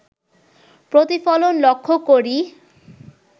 প্রতিফলন লক্ষ করি